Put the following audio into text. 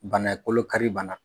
Bana kolo kari banna